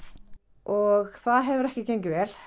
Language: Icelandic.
og það hefur ekki gengið vel